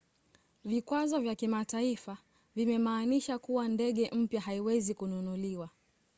vikwazo vya kimataifa vimemaanisha kuwa ndege mpya haiwezi kununuliwa